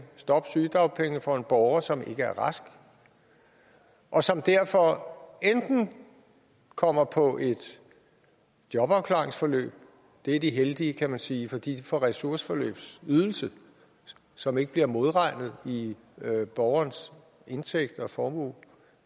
stoppe sygedagpengene for en borger som ikke er rask og som derfor enten kommer på et jobafklaringsforløb det er de heldige kan man sige for de får ressourceforløbsydelse som ikke bliver modregnet i borgerens indtægt og formue